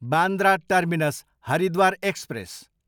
Bandra terminus, Haridwar express